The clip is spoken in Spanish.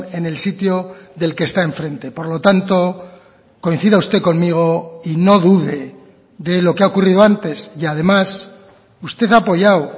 en el sitio del que está enfrente por lo tanto coincida usted conmigo y no dude de lo que ha ocurrido antes y además usted ha apoyado